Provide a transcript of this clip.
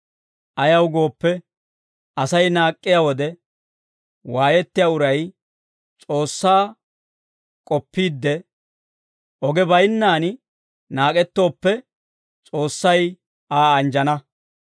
Ayaw gooppe, Asay naak'k'iyaa wode waayettiyaa uray S'oossaa k'oppiide, oge baynnaan naak'ettooppe S'oossay Aa anjjana.